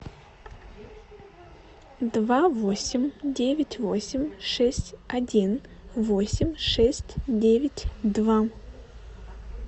два восемь девять восемь шесть один восемь шесть девять два